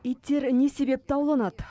иттер не себепті ауланады